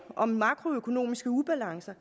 om makroøkonomiske ubalancer